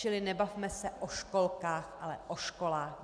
Čili nebavme se o školách, ale o školách.